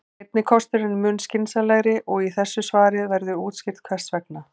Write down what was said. Seinni kosturinn er mun skynsamlegri og í þessu svari verður útskýrt hvers vegna.